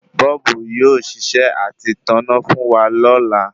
Bọ́ọ́bù yóò ṣiṣẹ́ atí taná fún wa lọ́la